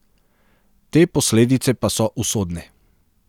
Te posledice pa so usodne.